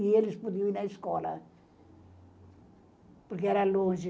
E eles podiam ir à escola, porque era longe.